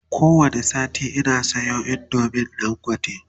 ko wani sati Ina Sayo indomin dangote